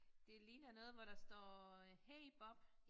Det ligner noget hvor der står øh hey Bob